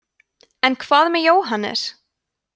en hvað með jóhannes